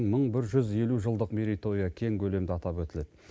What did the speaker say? мың бір жүз елу жылдық мерейтойы кең көлемде атап өтіледі